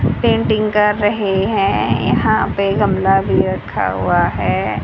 Painting कर रहे हैं यहां पे गमला भी रखा हुआ है।